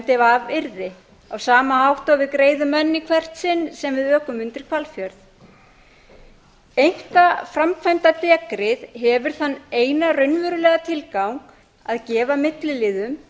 af yrði á sama hátt og við greiðum enn í hvert sinn sem við ökum undir hvalfjörð einkaframkvæmdadekrið hefur þann eina raunverulega tilgang að gefa milliliðum